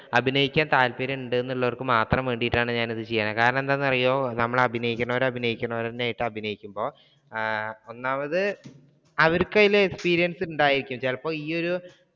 അഭിനയിക്കാൻ താല്പര്യം ഉണ്ട് എന്നുള്ളവർക്ക് മാത്രം വേണ്ടിയിട്ടാണ് ഞാൻ ഇത് ചെയ്യുന്നത്. കാരണം എന്താണെന്നു അറിയോ നമ്മൾ അഭിനയിക്കുന്നവർ അഭിനയിക്കുന്നവർ നന്നായിട്ട് അഭിനയിക്കുമ്പോൾ ഒന്നാമത് അവർക്ക് അതില് experience ഉണ്ടായിരിക്കും ചിലപ്പോൾ ഈ ഒരു.